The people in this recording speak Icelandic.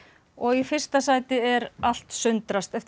og í fyrsta sæti er allt sundrast eftir